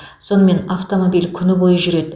сонымен автомобиль күні бойы жүреді